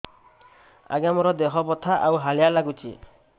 ଆଜ୍ଞା ମୋର ଦେହ ବଥା ଆଉ ହାଲିଆ ଲାଗୁଚି